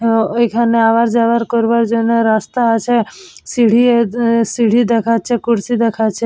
হম ওইখানে আবার যাবার করার জন্য রাস্তা আছে সিঁড়ি দেখাচ্ছে কুরসী দেখাচ্ছে।